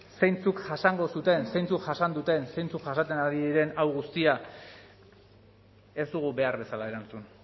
zeintzuk jasango zuten zeintzuk jasan duten zeintzuk jasaten ari diren hau guztia ez dugu behar bezala erantzun